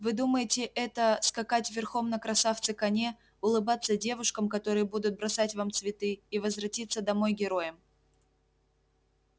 вы думаете это скакать верхом на красавце коне улыбаться девушкам которые будут бросать вам цветы и возвратиться домой героем